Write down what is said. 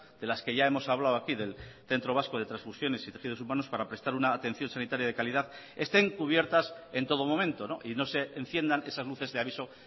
de las que ya hemos hablado aquí del centro vasco de transfusiones y tejidos humanos para prestar una atención sanitaria de calidad estén cubiertas en todo momento y no se enciendan esas luces de aviso